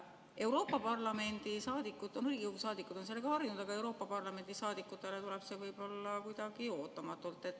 " Riigikogu liikmed on sellega harjunud, aga Euroopa Parlamendi liikmetele tuleb see võib-olla kuidagi ootamatult.